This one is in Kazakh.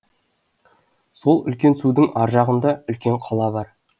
сол үлкен судың ар жағында үлкен қала бар